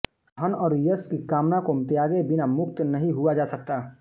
धन और यश की कामना को त्यागे बिना मुक्त नहीं हुआ जा सकता